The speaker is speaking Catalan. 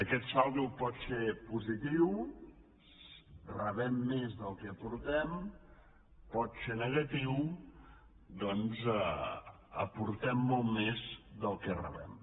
aquest saldo pot ser positiu rebem més del que aportem pot ser negatiu doncs aportem molt més del que rebem